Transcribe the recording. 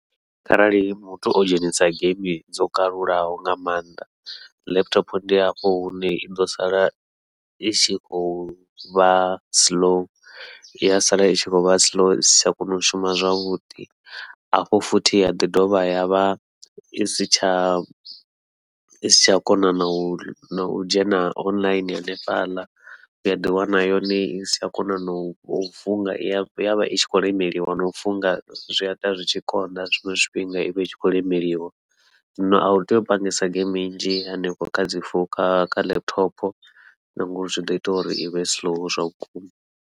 Kharali muthu o dzhenisa geimi dzo kalulaho nga maanḓa, laptop ndi hafho hune i ḓo sala i tshi khou vha siḽou iya sala i tshi khou vha siḽou isi tsha kona u shuma zwavhuḓi, hafho futhi ya ḓi dovha yavha isi tsha isi tsha kona nau u dzhena online hanefhaḽa u ya ḓi wana yone isi tsha kona nau funga i yavha i khou lemeliwa nau funga zwia ita zwi tshi konḓa, zwiṅwe zwifhinga ivha i tshi khou lemeliwa. Zwino au tei u pangesa dzi geimi nnzhi hanefho kha dzi founu kha kha laptop, na ngauri zwi ḓo ita uri ivhe slow zwa vhukuma.